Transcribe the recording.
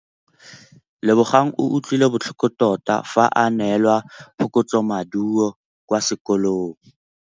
Lebogang o utlwile botlhoko tota fa a neelwa phokotsômaduô kwa sekolong.